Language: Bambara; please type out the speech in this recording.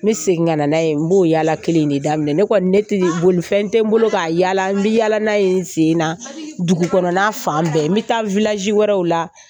N bɛ segin ka na n'a ye n b'o yala kelen de daminɛ ne kɔni ne ti bolofɛn tɛ n bolo kaa yaala n bɛ yaala n sen na dugukɔnɔna fan bɛɛ n bɛ taa wɛrɛw la